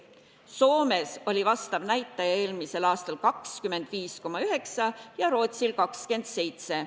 Soomes oli vastav näitaja eelmisel aastal 25,9 ja Rootsil 27.